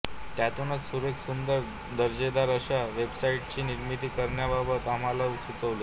त्यातूनच सुरेख सुंदर दर्जेदार अशा वेबसाईटची निर्मिती करण्याबाबत आम्हाला सुचले